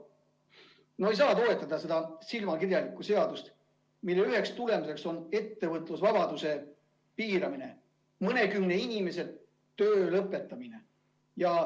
No ei saa toetada seda silmakirjalikku seadust, mille üks tagajärg on ettevõtlusvabaduse piiramine ja mõnekümne inimese töö lõpetamine.